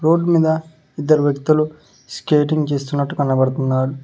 Road మీద ఇద్దరు వ్యక్తులు స్కేటింగ్ చేస్తున్నట్టు కనపడతున్నారు.